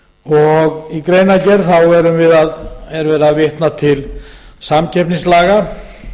hér oft áður í greinargerð erum við að vitna til samkeppnislaga